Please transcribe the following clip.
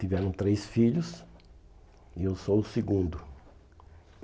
Tiveram três filhos e eu sou o segundo.